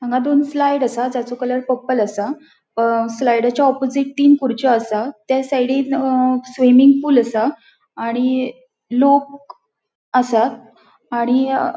हांगा दोन स्लाईड असा जसों कलर पर्पल असा स्लाईडचा ऑपॉजिट थीन कुरचयों असा थ्य सायडींनं स्विमिंग पूल असा आणि लोक असा आणि अ --